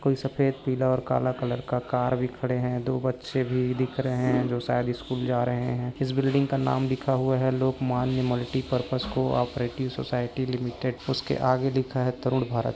कोई सफ़ेद पीला और काला कलर का कार भी खड़े है दो बच्चे भी दिख रहे है जो शायद इस्कूल जा रहे है इस बिल्डिंग का नाम लिखा हुआ है Lokmanya multipurpose cooperative society limited उसके आगे लिखा है तरुण भारत--